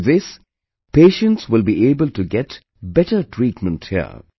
With this, patients will be able to get better treatment here